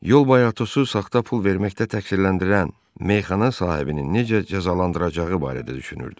Yol boyu Atosu saxta pul verməkdə təqsirləndirən meyxana sahibinin necə cəzalandıracağı barədə düşünürdü.